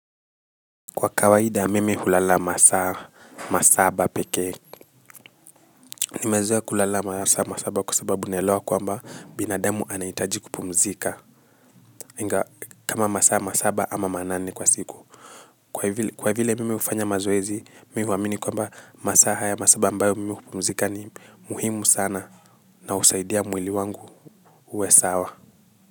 Kwa kawaida mimi hulala masaba peke. Nimezoa kulala masaba masaba kwa sababu neloa kwamba binadamu anaitaji kupumzika kama masa masaba ama manane kwa siku kwa vile mimi hufanya mazoezi mimi huamini kwamba masaa haya msaba ambayo nafaa kupumzika ni ya muhimu sana na usaidia mwili wangu uwe sawa. Kwa hivyo.